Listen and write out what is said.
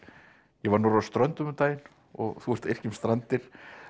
ég var norður á Ströndum um daginn og þú ert að yrkja um Strandir